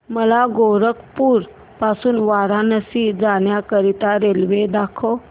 मला गोरखपुर पासून वाराणसी जाण्या करीता रेल्वे दाखवा